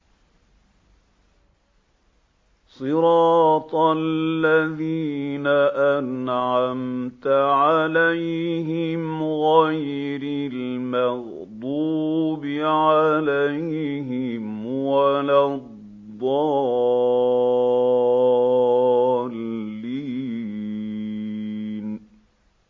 صِرَاطَ الَّذِينَ أَنْعَمْتَ عَلَيْهِمْ غَيْرِ الْمَغْضُوبِ عَلَيْهِمْ وَلَا الضَّالِّينَ